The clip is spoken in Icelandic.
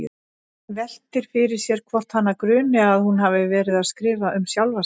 Veltir fyrir sér hvort hana gruni að hún hafi verið að skrifa um sjálfa sig.